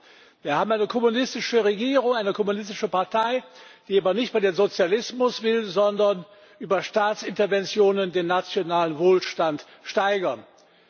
Wir haben eine kommunistische Regierung, eine kommunistische Partei, die aber nicht nur den Sozialismus will, sondern über Staatsinterventionen den nationalen Wohlstand steigern will.